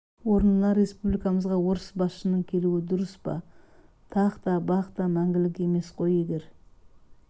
орнына республикамызға орыс басшының келуі дұрыс па тақ та бақ та мәңгілік емес қой егер